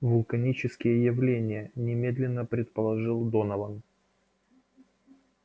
вулканические явления немедленно предположил донован